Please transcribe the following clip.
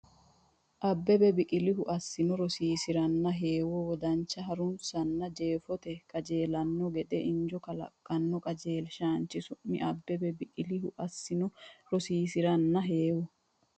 Abbebe Biqilihu assino rosiisi’ranna heewo wodanche ha’runsino- hunna jeefoteno qajeelanno gede injo kalaqino qajeelshaanchi su’mi Abbebe Biqilihu assino rosiisi’ranna heewo.